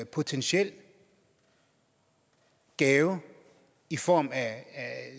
potentiel gave i form af